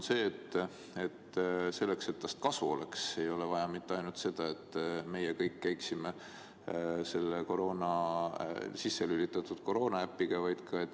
Selleks et tast kasu oleks, ei ole vaja mitte ainult seda, et me kõik käiksime selle sisse lülitatud koroonaäpiga.